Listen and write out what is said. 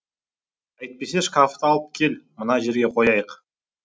әйтпесе шкафты алып кел мына жерге қояйық